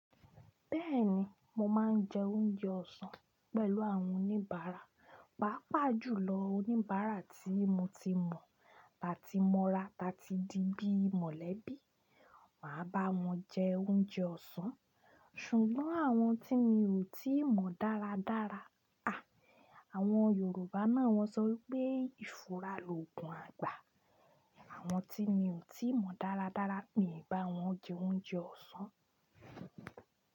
Bẹ́ẹ̀ni, mo máa ń jẹ oúnjẹ ọ̀sán pẹ̀lú àwọn oníbàárà. Pàápàá jùlọ oníbàárà tí mo ti mọ̀, ta ti mọ́ra ta ti di bií mọ̀lẹ́bí, màá bá wọn jẹ oúnjẹ ọ̀sán. Ṣùgbọ́n àwọn tí mi ò tíì mọ dáradára, à, àwọn Yorùbá náà wọ́n sọ pé ìfura loògùn àgbà. Àwọn tí mi ò tíì mọ dáradára mi n bá wọn jẹ oúnjẹ ọ̀sán.